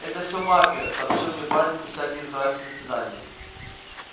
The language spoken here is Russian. это всё мафия сообщил мне парень без всяких здравствуйте до свидания